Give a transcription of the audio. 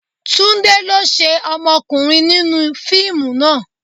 Túndé lo ṣé ọmọkùnrin nínú fíìmù náà.